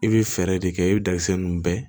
I bi fɛɛrɛ de kɛ i be dakisɛ nun bɛɛ